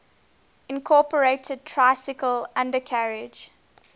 incorporated tricycle undercarriage